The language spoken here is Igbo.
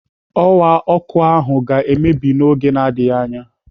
Ọwa ọkụ ahụ ga-emebi n'oge na-adịghị anya.